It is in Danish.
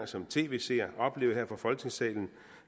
som tv seer oplevede her fra folketingssalen